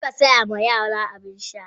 Muka saya wa yara abin sha.